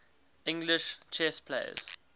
english chess players